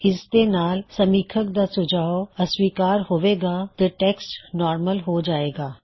ਇਸ ਦੇ ਨਾਲ ਸਮੀਖਕ ਦਾ ਸੁਝਾਅ ਅਸਵੀਕਾਰ ਹੋਏ ਗਾ ਤੇ ਟੈੱਕਸਟ ਨੂੰ ਨੋਰਮਲ ਹੋ ਜਾਏ ਗਾ